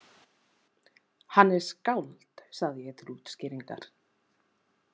Hann er skáld, sagði ég til útskýringar.